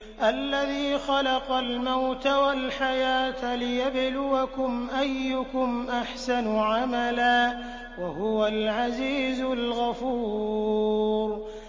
الَّذِي خَلَقَ الْمَوْتَ وَالْحَيَاةَ لِيَبْلُوَكُمْ أَيُّكُمْ أَحْسَنُ عَمَلًا ۚ وَهُوَ الْعَزِيزُ الْغَفُورُ